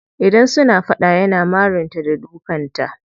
Idan suna fada yana marin ta da dukan ta.